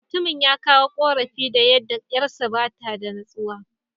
Mutumin ya kawo ƙorafi da yadda ƴarsa ba ta da natsuwa.